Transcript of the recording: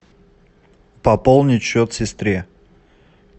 пополнить счет сестре